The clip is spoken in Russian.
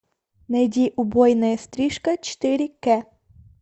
найди убойная стрижка четыре кэ